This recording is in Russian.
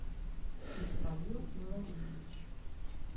исмаил иллариевич